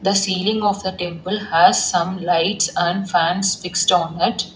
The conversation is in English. The ceiling of the temple has some lights and fans fixed on it.